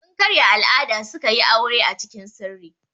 Sun karya al'ada suka yi aure acikin sirri.